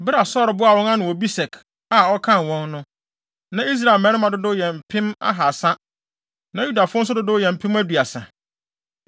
Bere a Saulo boaa wɔn ano wɔ Besek a ɔkan wɔn no, na Israel mmarima dodow yɛ mpem ahaasa na Yudafo nso dodow yɛ mpem aduasa.